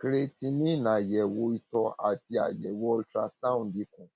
creatinine àyẹwò ìtọ àti àyẹwò ultrasound ikùn